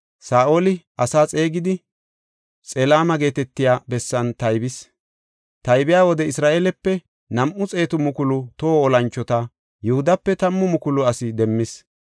Saa7oli asaa xeegidi, Xelaame geetetiya bessan taybis. Taybiya wode Isra7eelepe nam7u xeetu mukulu toho olanchota; Yihudape tammu mukulu asi demmis.